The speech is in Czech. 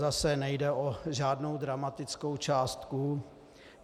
Zase nejde o žádnou dramatickou částku.